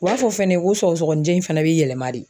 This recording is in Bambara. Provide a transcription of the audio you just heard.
u b'a fɔ fɛnɛ ko sɔgɔsɔgɔninjɛ in fɛnɛ be yɛlɛma de.